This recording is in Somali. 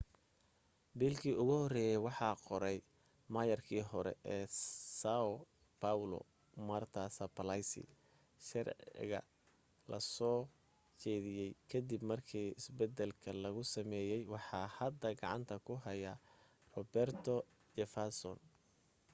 biilkii ugu horeye waxaa qoray meyarkii hore sao paulo marta suplicy sharciga lasoo jeediye kadib markii isbadalka lagu sameye waxaa hadda gacanta ku haya roberto jefferson